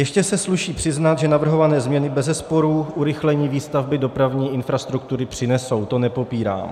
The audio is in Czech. Ještě se sluší přiznat, že navrhované změny bezesporu urychlení výstavby dopravní infrastruktury přinesou, to nepopírám.